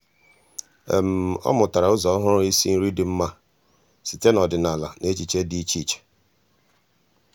ọ́ mụ́tàrà ụ́zọ́ ọ́hụ́rụ́ ísí nrí dị́ mma site n’ọ́dị́nála na echiche dị́ iche iche.